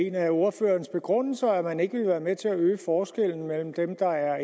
en af ordførerens begrundelser var at man ikke ville være med til at øge forskellen mellem dem der er